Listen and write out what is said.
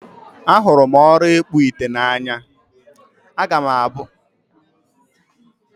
Ahụrụ m ọrụ ịkpụ ite n'anya. Aga m abụ ọkpụ ite ma mụ too.